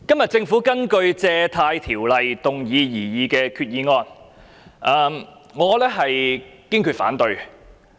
主席，今天政府根據《借款條例》動議擬議的決議案，我堅決反對。